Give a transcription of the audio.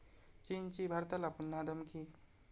चीनची भारताला पुन्हा धमकी